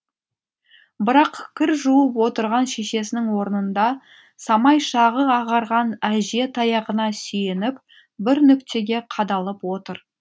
бірақ кір жуып отырған шешесінің орнында самай шағы ағарған әже таяғына сүйеніп бір нүктеге қадалып отыр